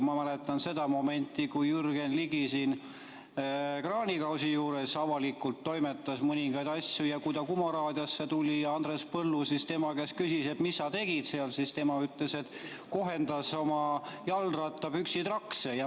Ma mäletan seda momenti, kui Jürgen Ligi kraanikausi juures avalikult toimetas mõningaid asju ja kui ta Kuma raadiosse tuli ja Andres Põllu siis tema käest küsis, et mis sa tegid seal, siis tema ütles, et kohendas oma jalgrattapükste trakse.